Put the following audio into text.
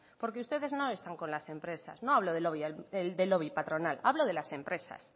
porque ustedes no están con las empresas no hablo del lobby patronal hablo de las empresas